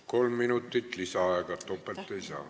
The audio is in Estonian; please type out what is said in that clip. Kolm minutit lisaaega, topelt ei saa.